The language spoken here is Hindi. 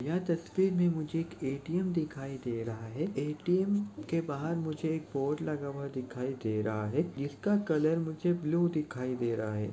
यह तस्वीर मे मुझे एक ए_टी_एम दिखाई दे रहा है ए_टी_एम के बाहर मुझे एक बोर्ड लगा हुआ दिखाई दे रहा है जिसका कलर मुझे ब्लू दिखाई दे रहा।